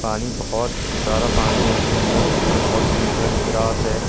पानी बहुत सारा पानी है उसके अंदर ऊपर बहुत ग्रीन कलर की ग्रास है।